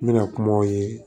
N bɛna kumaw ye